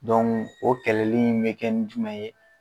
o kɛlɛli in mɛ kɛ ni jumɛn ye?